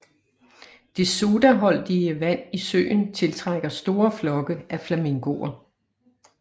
Det sodaholdige vand i søen tiltrækker store flokke af flamingoer